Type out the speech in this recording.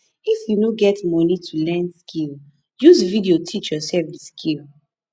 if you no get moni to learn skill use video teach yoursef di skill